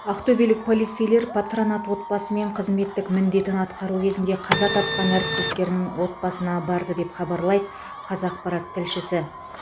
ақтөбелік полицейлер патронат отбасы мен қызметтік міндетін атқару кезінде қаза тапқан әріптестерінің отбасына барды деп хабарлайды қазақпарат тілшісі